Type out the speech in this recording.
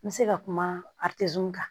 N bɛ se ka kuma kan